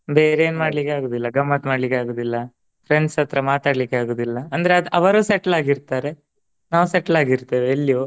ಬೇರೆನ್ ಮಾಡ್ಲಿಕ್ ಆಗುದಿಲ್ಲ ಗಮ್ಮತ್ ಮಾಡ್ಲಿಕ್ ಆಗುದಿಲ್ಲ. friends ಹತ್ರ ಮಾತಾಡ್ಲಿಕ್ಕೆ ಆಗುದಿಲ್ಲ. ಅಂದ್ರೆ ಅದ್ ಅವರು settle ಆಗಿರ್ತಾರೆ. ನಾವು settle ಆಗಿರ್ತೆವೆ ಇಲ್ಲಿಯೂ.